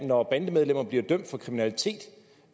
når bandemedlemmer bliver dømt for kriminalitet